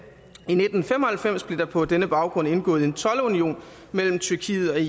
i nitten fem og halvfems blev der på denne baggrund indgået en toldunion mellem tyrkiet